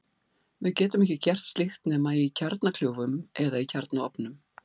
Við getum ekki gert slíkt nema í kjarnakljúfum eða í kjarnaofnum.